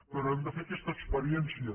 però hem de fer aquesta experiència